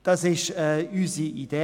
Dies ist unsere Idee.